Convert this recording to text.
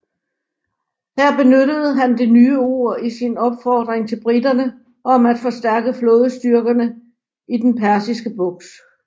Her benyttede han det nye ord i sin opfordring til briterne om at forstærke flådestyrkerne i den Persiske Bugt